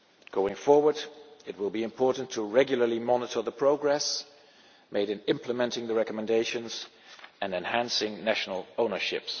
Going forward, it will be important to regularly monitor the progress made in implementing the recommendations and enhancing national ownership.